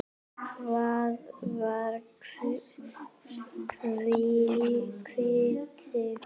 Hvar var Hvutti?